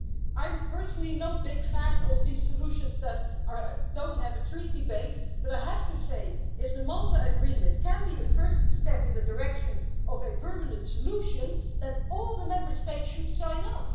I'm personally no big fan of the solutions that don't have their basis in the treaties, but I have to say, if the Malta agreement can be a first step in the direction of a permanent solution, then all the Member States should sign up.